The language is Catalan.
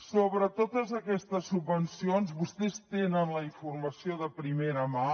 sobre totes aquestes subvencions vostès tenen la informació de primera mà